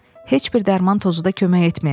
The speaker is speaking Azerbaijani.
Heç bir dərman tozu da kömək etməyəcək.